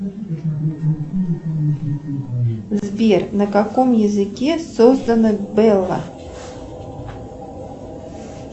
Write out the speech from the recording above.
сбер на каком языке создана белла